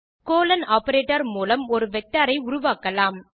colon operator மூலம் ஒரு vector ஐ உருவாக்கலாம்